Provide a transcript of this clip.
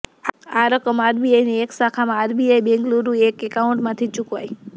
આ રકમ આરબીઆઈની એક શાખામાં આરબીઆઈ બેંગલુરૂના એક એકાઉન્ટમાંથી ચૂકવાઈ